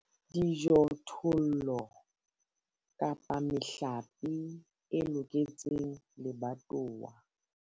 Dijothollo kapa mehlape e loketseng lebatowa.